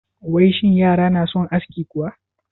Wai shin yara na son aski kuwa?